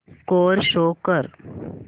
score show कर